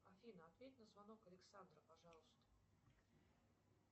афина ответь на звонок александра пожалуйста